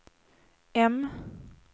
M